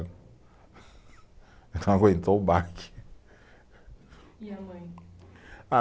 Não aguentou o baque. E a mãe? Ah